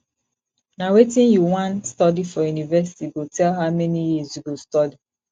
na wetin you wan study for university go tell how many years you go study